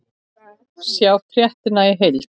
Sjá fréttina í heild